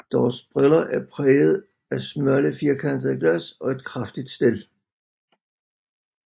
Deres briller er præget af smalle firkantede glas og et kraftigt stel